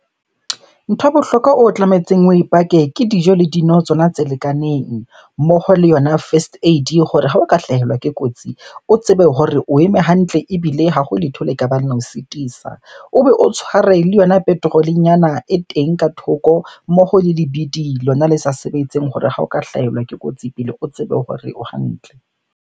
Ntho ya bohlokwa o tlametseng oe park-e ke dijo le dino tsona tse lekaneng. Mmoho le yona first aid hore ha o ka hlahelwa ke kotsi, o tsebe hore o eme hantle ebile ha ho letho le ka bang le o sitisa. O be o tshware le yona petrol-e nyana e teng ka thoko, mmoho le lebidi lona le sa sebetseng hore ha o ka hlahelwa ke kotsi pele o tsebe hore o hantle.